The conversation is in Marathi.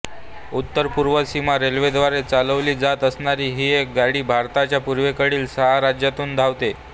उत्तर पूर्व सीमा रेल्वेद्वारे चालवली जात असणारी ही गाडी भारताच्या पूर्वेकडील सहा राज्यातून धावते